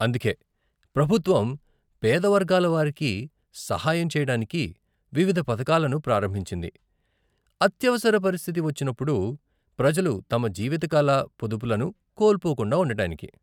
అందుకే ప్రభుత్వం పేద వర్గాల వారికి సహాయం చేయడానికి వివిధ పథకాలను ప్రారంభించింది, అత్యవసర పరిస్థితి వచ్చినప్పుడు ప్రజలు తమ జీవితకాల పొదుపులను కోల్పోకుండా ఉండటానికి.